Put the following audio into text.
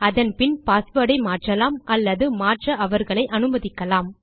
அதன் பின் பாஸ்வேர்ட் ஐ மாற்றலாம் அல்லது மாற்ற அவர்களை அனுமதிக்கலாம்